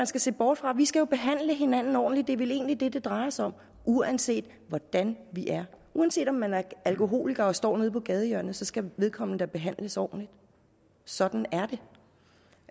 skal se bort fra vi skal jo behandle hinanden ordentligt det er vel egentlig det det drejer sig om uanset hvordan vi er uanset at man er alkoholiker og står nede på gadehjørnet skal vedkommende da behandles ordentligt sådan er